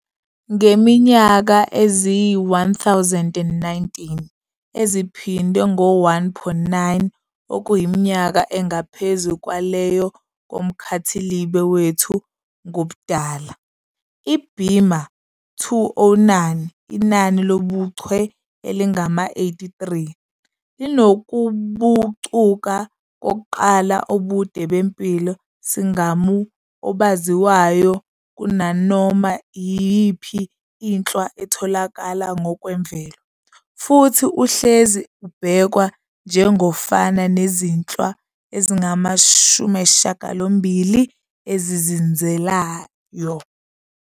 Ngeminyaka eyizi-1019 eziphindwe ngo-1.9, okuyiminyaka engaphezu kwaleyo yomkhathilibe wethu ngobudala, iBima-209, inani lobuchwe elingama-83, linokubucuka kokuqala obude bempilo-sigamu obaziwayo kunanoma iyipho inhlwa etholakala ngokwemvelo, futhi uhlezi ubhekwa njengofana nezinhlwa ezingama-80 ezizinzileyo.